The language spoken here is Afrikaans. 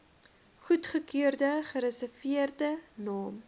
goedgekeurde gereserveerde naam